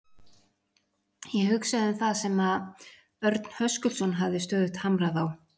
Ég hugsaði um það sem Örn Höskuldsson hafði stöðugt hamrað á.